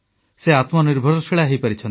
ସେ ଆତ୍ମନିର୍ଭରଶୀଳ ହୋଇପାରିଛନ୍ତି